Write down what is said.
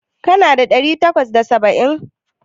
Kana da ɗari takwas da saba'in?